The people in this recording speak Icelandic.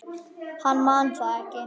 Hann man það ekki.